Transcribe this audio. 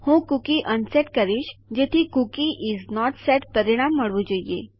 હું cookie unset કરીશ જેથી કૂકી ઇસ નોટ સેટ પરિણામ મળવું જોઈએ